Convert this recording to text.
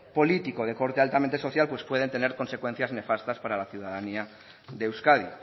político de corte altamente social pues pueden tener consecuencias nefastas para la ciudadanía de euskadi